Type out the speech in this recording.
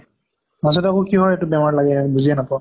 মাজতে এইবোৰ কহৰ এইটো বেমাৰ লাগে বুজিয়ে নাপাওঁ।